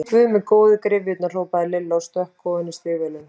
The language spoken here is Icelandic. Guð minn góður, gryfjurnar! hrópaði Lilla og stökk ofan í stígvélin.